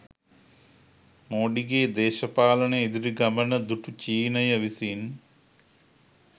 මෝඩිගේ දේශපාලන ඉදිරි ගමන දුටු චීනය විසින්